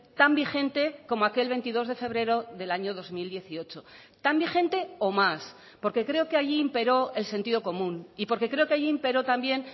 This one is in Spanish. tan vigente como aquel veintidós de febrero del año dos mil dieciocho tan vigente o más porque creo que allí imperó el sentido común y porque creo que allí imperó también